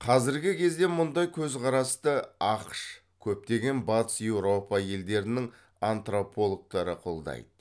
қазіргі кезде мұндай көзқарасты ақш көптеген батыс еуропа елдерінің антропологтары қолдайды